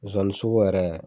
Sonsannin sogo yɛrɛ